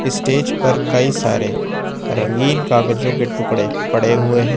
Stage पर कई सारे रंगीन कागजों के टुकड़े पड़े हुए हैं।